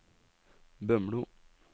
Bømlo